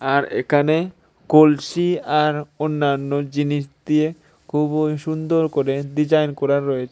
আর একানে কলসি আর অন্যান্য জিনিস দিয়ে খুবই সুন্দর করে ডিজাইন করা রয়েছে।